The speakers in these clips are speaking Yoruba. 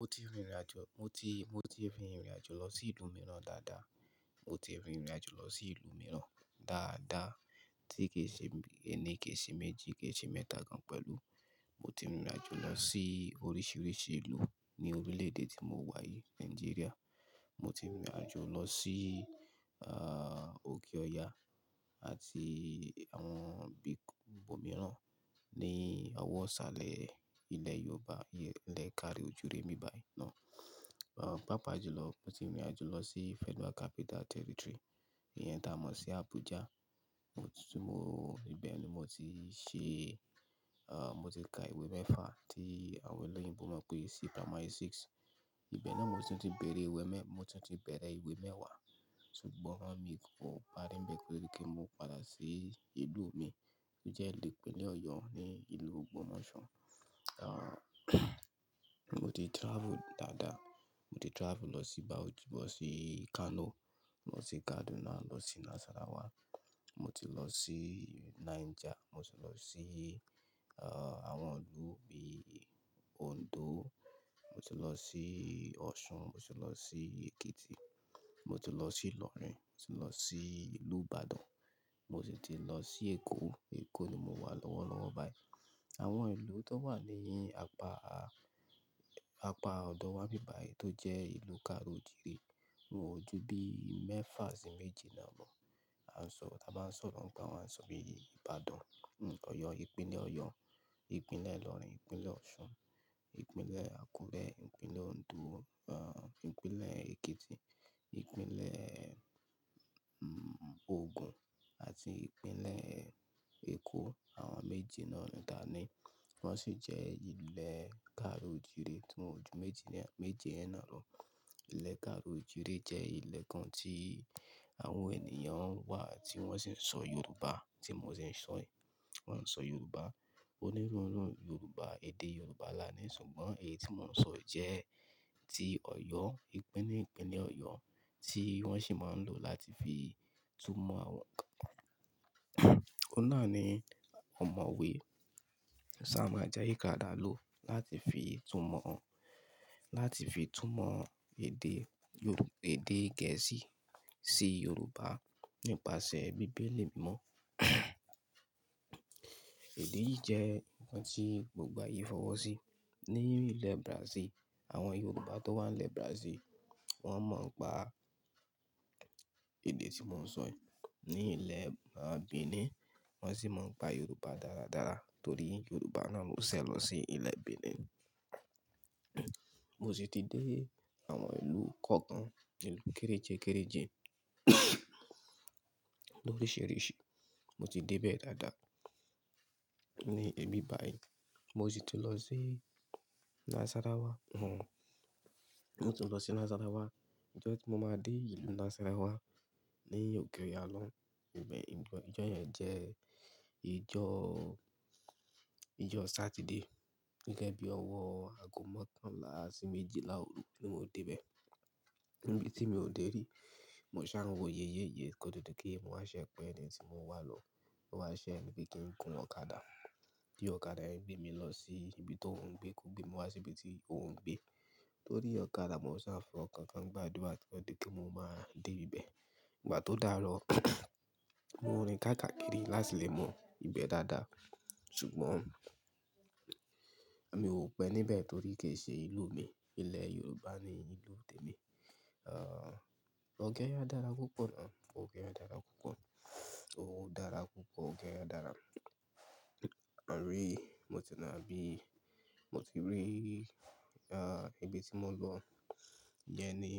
Mo ti rìnrìn àjò, mo ti, mo ti rìnrìn àjò lọ sí ìlú mìíràn dáadáa. Mo ti rìnrìn àjò lọ sí ìlú mìíràn dáadáa tí kì í ṣe mẹni, kì í ṣe méjì, kì í ṣe mẹ́ta gan pẹ̀lú. Mo ti rìnrìn àjò lọ sí oríṣiríṣi ìlú ní orílẹ̀-èdè tí mo wà yìí, Nàìjíríà. Mo ti rìnrìn àjò lọ sí, ah, òkè Ọya àti àwọn ibomìíràn ní ọwọ́ sàlẹ̀ ilẹ̀ Yorùbá, ilẹ̀ káàro ojiire nbíbàyìí náà. Ah, pàápàá jùlọ mo ti rìnrìn àjò lọ sí Federal Capital Territory, ìyẹn tá a mọ̀ sí Abuja. Mo ti sún mo ibẹ̀ ni mo ti ṣe, ah, mo ti ka ìwé mẹ́fà tí àwọn ẹlẹ́yìnbo mọ̀ pé sí Primary Six. Ibẹ̀ náà mo sì tún ti bẹ̀rẹ̀ ìwé mẹ́-- mo ti tún ti bẹ̀rẹ̀ ìwé mẹ́wàá ṣùgbọ́n wọ́n mi kò párí ńbẹ́ẹ̀ pé kí n mó padà sí ìlú mi tí jẹ́ ìpínlẹ̀ Ọ̀yọ́ ní ìlú Ògbómọ̀ṣọ́. Ah, mo ti travel dáadáa. Mo ti travel lọ sí Bauchi, lọ sí Kano, lọ sí Kaduna, lọ sí Nasarawa, mo ti lọ sí Niger, mo ti lọ sí, ah, àwọn ìlú bí i Ondo, mo ti lọ sí Ọ̀ṣun, mo ti lọ sí Èkìtì, mo ti lọ sí Ìlọrin, mo ti lọ sí ìlú Ìbàdàn, mo sì ti lọ sí Èkó. Èkó ni mo wà lọ́wọ́lọ́wọ́ báyìí. Àwọn ìlú tó wà ní apá, apá ọ̀dọ̀ wá n'bíbáyìí tó jẹ́ ìlú káàró ojíire won o jú bí i mẹ́fà sí méje náà lọ. A sọ, tá bá n sọ̀rọ̀ ń pa wa a sọ bí i Ìbàdàn, Ọ̀yọ́, ìpínlẹ̀ Ọ̀yọ́, ìpínlẹ̀ Ìlọrin, ìpínlẹ̀ Ọ̀ṣun, ìpínlẹ̀ Àkúrẹ́, ìpínlẹ̀ Ondo, ah, ìpínlẹ̀ Èkìtì, ìpínlẹ̀, mm, Ogun àti ìpínlẹ̀ Èkó. Àwọn méje náà ni káàni wọ́n sì jẹ́ ilẹ̀ káàro ojíire tí wọn ju méjì yen náà, méjì yen náà lọ. Ìlè káàró ojíire jẹ́ ìlè kan tí àwọn ènìyàn wà tí wọ́n sì ń sọ Yorùbá tí mo se ń sọ yìí. Wọn ń sọ Yorùbá. Onírúurú Yorùbá, èdè Yorùbá là á ní ṣùgbọ́n èyí tí mò ń sọ jẹ́ ti Ọ̀yọ́, ìpínlẹ̀, ìpínlẹ̀ Ọ̀yọ́ tí wọ́n sì máa ń lò láti fi túmọ̀ àwọn-- Ó náání ọ̀mọ̀wẹ́ Samuel Ajayi Crowther lò láti fi túmọ̀, láti fi túmọ̀ èdè Yorù-- èdè Gẹ̀ẹ́sì sí Yorùbá nípasẹ̀ bíbélì mímọ̀. Èdè yìí jẹ́ nǹkan tí gbogbo ayé fọwọ́ sí. Ní ilẹ̀ Brazil, àwọn Yorùbá tó wà ní ilẹ̀ Brazil wọ́n mọ̀ n'pa èdè tí mò ń sọ yìí. Ní ilẹ̀ Benin wọ́n sì mọ̀ ọ́n pa Yorùbá dáradára torí Yorùbá náà ló ṣẹ lọ sí ilẹ̀ Benin. Mo sì ti dé àwọn ìlú kọ̀ọ̀kan, ìlú kéréjẹ́ kéréjẹ, loríṣìíríṣìí. Mo ti dé bẹ́ẹ̀ dáadáa ní ibi báyìí. Mo sì ti lọ sí Nasarawa, mo ti lọ sí Nasarawa. Ọjọ́ tí mo máa dé ìlú Nasarawa ni òkè Ọya lọun, eh-- ìjọ́, ìjọ́ yẹn jẹ́ ìjọ́, ìjọ́ Saturday gẹ́gẹ́ bí i ọwọ́ ago mọ́kànlá sí méjìlá òru ni mo dé ibẹ̀. Ibi tí mi ò dè rí, mo ṣáá n wọ ye ye ye kó tó dípé mo wà se pe eni tí mo wa lo lọ wá ṣẹní pe kí n gun ọ̀kadà. Bí ọ̀kadà yẹn gbé mi lọ sí ibi tóuń gbé kó gbé mi wá sí ibi tí ó ń gbé. Lorí ọ̀kadà mo ṣáá n f'ọkankan gbá àdúrà kí ó tó dípé mo máa dé ibẹ̀. Ìgbà tó dáarọ̀ mo rin káàkàkiri láti lè mọ ibẹ̀ dáadáa ṣùgbọ́n mi ò pé níbẹ̀ torí kì í ṣe ìlú mi. Ilẹ̀ Yorùbá ni ìlú tèmi. Ah, òkè Ọya dára púpọ̀ náà. Òkè Ọya dára púpọ̀. Ó dára púpọ̀, òkè Ọya dára. Àárẹ, mo ti lọ bí i-- mo ti rí, ah, ibi tí mò ń lọ jẹ́ ní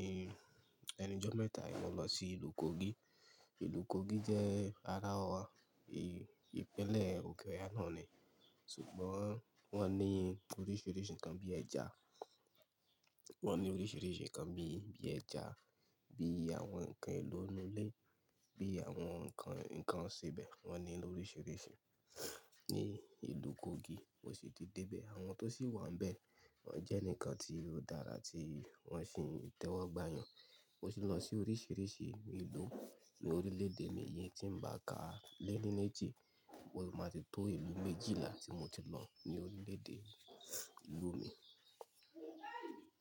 ẹni jọ mẹ́ta yìí mo lọ sí ìlú Kogi. Ìlú Kogi jẹ́ ara ìpínlẹ̀ òkè Ọya náà ni. Ṣùgbọ́n wọ́n ní oríṣìíríṣìí nǹkan bíi ẹja. Wọn ní oríṣìíríṣìí nǹkan bíi, bíi ẹja, bíi àwọn nǹkan èlò ińú ilé, bíi àwọn nǹkan, nǹkan ìsèbẹ̀ wọ́n ní ló oríṣìíríṣìí ní ìlú Kogi. Mo sì ti dé ibẹ̀. Àwọn tó sì wà níbẹ̀ wọ́n jẹ́ eǹikan tí ó dára tí wọ́n sì ń tẹ́wọ́gbà yàn. Mo sì lọ sí oríṣìíríṣìí ìlú ní orílẹ̀-èdè mí yìí tí ń bá ka lẹ́ní méjì. Ó sì máa ti tó ìlú méjìlá tí mo ti lọ mío gbede èdè ìlú mi.